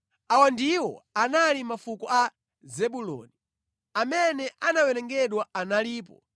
Awa ndiwo anali mafuko a Zebuloni. Amene anawerengedwa analipo 60,500.